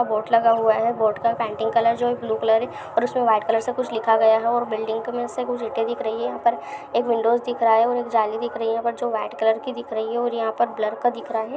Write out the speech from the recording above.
Board लगा हुआ है बोर्ड का पेंटिंग कलर जो है ब्लू कलर है और इसमें वाइट कलर से कुछ लिखा गया है और बिल्डिंग की मे से कुछ इटे दिख रही है यहाँ पर एक विंडोज़ दिख रहा है एक जाली दिख रही है जो वाइट कलर की दिख रहे और यहाँ पर एक लड़का दिख रहा ह ।